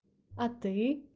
а ты